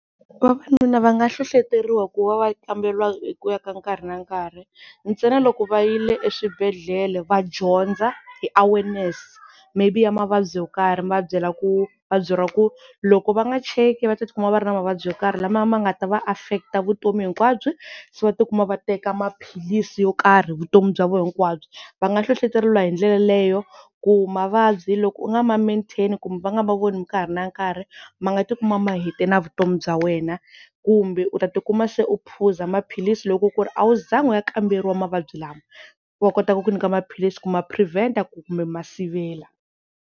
Vavanuna va nga hlohloteriwa ku va va kamberiwa hi ku ya ka nkarhi na nkarhi, ntsena loko va yile eswibedhlele va dyondza hi awareness maybe ya mavabyi yo karhi mi va byela ku va byeriwa ku loko va nga cheki va ta tikuma va ri na mavabyi yo karhi, lama ma nga ta va affect-a vutomi hinkwabyo, so va tikuma va teka maphilisi yo karhi vutomi bya vo hinkwabyo va nga hlohleteriwa hi ndlela yaleyo ku mavabyi loko u nga ma-maintain-i kumbe va nga ma voni nkarhi na nkarhi ma nga ti kuma mahete na vutomi bya wena, kumbe u ta tikuma se u phuza maphilisi loko ku ri a wu zangi u ya kamberiwa mavabyi lama va kota ku ku nyika maphilisi ku ma-prevent-a ku kumbe ku ma sivela.